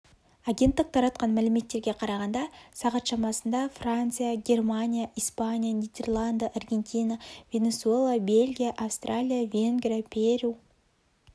агенттік таратқан мәліметтерге қарағанда сағат шамасында франция германия испания нидерланды аргентина венесуэла бельгия австралия венгрия перу